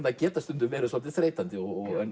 þær geta stundum verið svolítið þreytandi